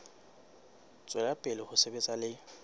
tswela pele ho sebetsa le